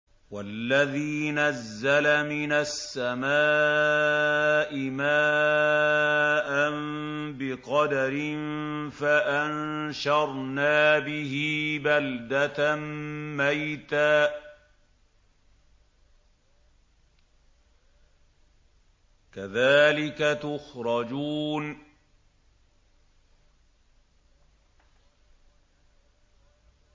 وَالَّذِي نَزَّلَ مِنَ السَّمَاءِ مَاءً بِقَدَرٍ فَأَنشَرْنَا بِهِ بَلْدَةً مَّيْتًا ۚ كَذَٰلِكَ تُخْرَجُونَ